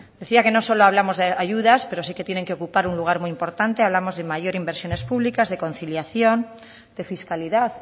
decía que no solo hablamos de ayudas pero sí que tienen que ocupar un lugar muy importante hablamos de mayores inversiones públicas de conciliación de fiscalidad